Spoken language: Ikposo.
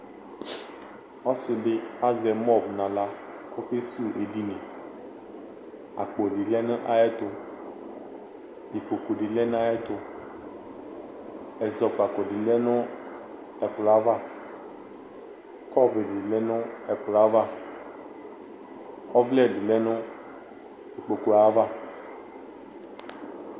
Ɔsɩ dɩ azɛ mɔb nʋ aɣla kʋ ɔkesuwu edini Akpo dɩ lɛ nʋ ayɛtʋ Ikpoku dɩ lɛ nʋ ayɛtʋ Ɛzɔkpako dɩ lɛ nʋ ɛkplɔ yɛ ava Kɔpʋ dɩ lɛ nʋ ɛkplɔ yɛ ava Ɔvlɛ dɩ lɛ ikpoku yɛ ava